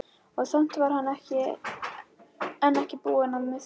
Og samt var hann enn ekki búinn að missa kjarkinn.